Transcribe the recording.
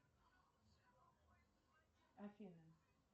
афина